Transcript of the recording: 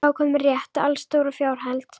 Þá var komin rétt, allstór og fjárheld.